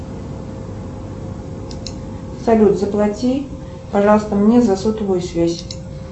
салют заплати пожалуйста мне за сотовую связь